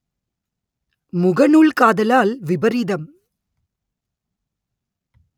முக நூல் காதலால் விபரீதம்